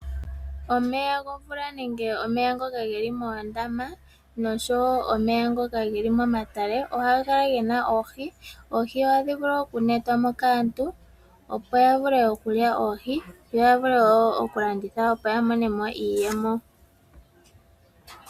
Omeya gomvula nenge omeya ngoka geli moondama nosho woo omeya ngoka geli momatale ohaga kala gena Oohi. oohi ohadhi vulu oku metwamo kaantu opo ya vule oku lya oohi, yo ya vule woo oku landitha opo ya monemo iiyemo.